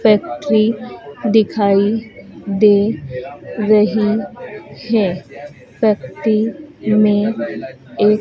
factory दिखाई दे रही है फैक्ट्री में एक--